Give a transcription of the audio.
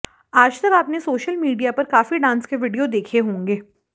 आजतक आपने social media पर काफी डांस के वीडियो देखे होंगे